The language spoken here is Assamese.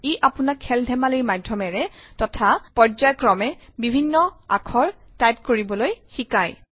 ই আপোনাক খেল ধেমালিৰ মাধ্যমেৰে তথা পৰ্য্যায়ক্ৰমে বিভিন্ন আখৰ টাইপ কৰিবলৈ শিকায়